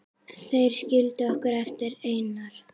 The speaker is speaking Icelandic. Þeir skildu okkur eftir einar.